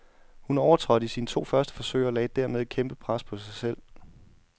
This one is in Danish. Hun overtrådte i sine to første forsøg og lagde dermed et kæmpe pres på sig selv.